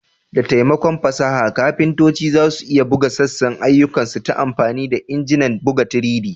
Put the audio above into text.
Da taimakon fasaha, kafintoci za su iya buga sassan ayyukansu ta amfani da injinan buga 3D.